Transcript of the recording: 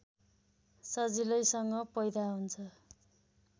सजिलैसँग पैदा हुन्छ